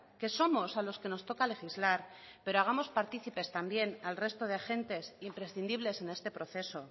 que somos a los que nos toca legislar pero hagamos partícipes también al resto de agentes imprescindibles en este proceso